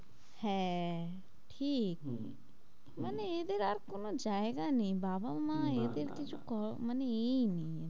হ্যাঁ ঠিক হম মানে এদের আর কোন কোনো জায়গা নেই বাবা মা না না এদের কিছু ক মানে এই নেই,